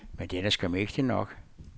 Men den er skam ægte nok.